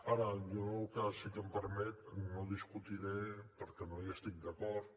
ara jo el que sí que si em permet no discutiré perquè no hi estic d’acord